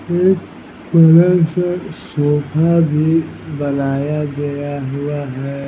एक बड़ा सा सोफ़ा भी बनाया गया हुआ है।